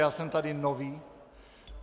Já jsem tady nový.